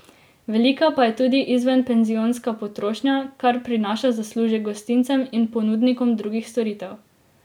Velika pa je tudi izvenpenzionska potrošnja, kar prinaša zaslužek gostincem in ponudnikom drugih storitev.